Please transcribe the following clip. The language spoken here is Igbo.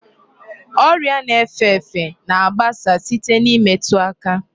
Ọrịa na-efe efe na-agbasa site n'imetu aka.